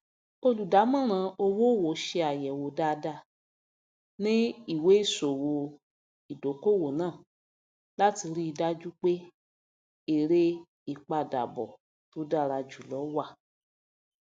olùdámọràn owóòwò ṣe àyẹwò dáadáa ní ìwéìṣòwò ìdókòowó náà láti ríi dájú pé èrè ìpadàbọ tó dára jùlọ wà